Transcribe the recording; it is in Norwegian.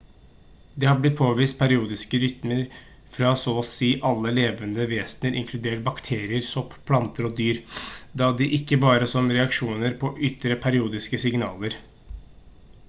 det har blitt påvist periodiske rytmer fra så og si alle levende vesener inkludert bakterier sopp planter og dyr og da ikke bare som reaksjoner på ytre periodiske signaler